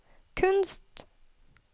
kunst